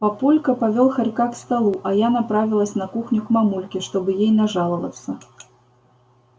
папулька повёл хорька к столу а я направилась на кухню к мамульке чтобы ей нажаловаться